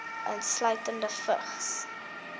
insluitende vigs